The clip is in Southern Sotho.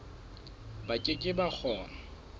ba ke ke ba kgona